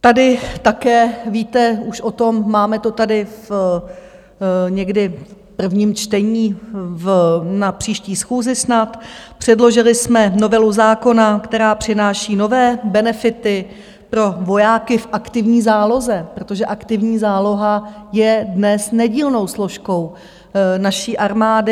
Tady také víte už o tom, máme to tady někdy v prvním čtení na příští schůzi snad, předložili jsme novelu zákona, která přináší nové benefity pro vojáky v aktivní záloze, protože aktivní záloha je dnes nedílnou složkou naší armády.